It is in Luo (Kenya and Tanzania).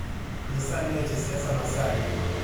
Nyisa ane weche siasa ma sani